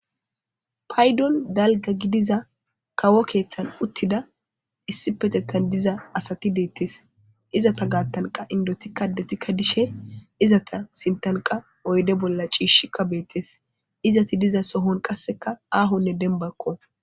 paydon dalga gidiza kawo keeththan uttida issi petetan diza asati deettes izata gaattanqa indotikka detikka dishe izata sintanqa oyde bolla ciishi kabeettes izati diza sohon qasseka aahonne denbakko